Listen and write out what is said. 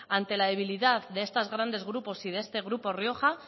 ante la debilidad de estos grandes grupos y de este grupo rioja